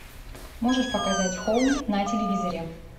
можешь показать хоум на телевизоре